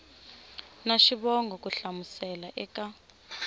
na xivongo ku hlamusela eka